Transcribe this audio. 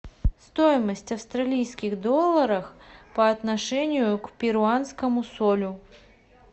стоимость австралийских долларов по отношению к перуанскому солю